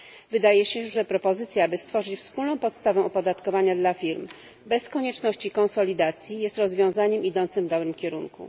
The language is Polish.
Wydaje się, że propozycja, by stworzyć wspólną podstawą opodatkowania dla firm bez konieczności konsolidacji, jest rozwiązaniem idącym w dobrym kierunku.